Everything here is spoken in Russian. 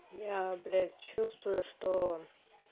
я б чувствую что